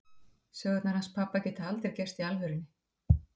Sögurnar hans pabba geta aldrei gerst í alvörunni.